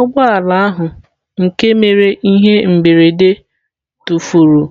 Ụgbọ ala ahụ nke mere ihe mberede tụfuru